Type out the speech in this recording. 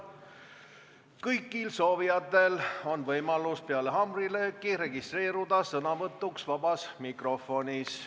Kõigil soovijatel on võimalus peale haamrilööki registreeruda sõnavõtuks vabas mikrofonis.